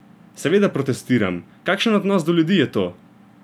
Seveda protestiram: "Kakšen odnos do ljudi je to?